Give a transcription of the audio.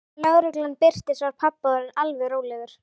Þegar lögreglan birtist var pabbi orðinn alveg rólegur.